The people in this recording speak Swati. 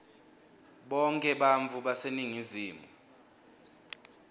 bonkhe bantfu baseningizimu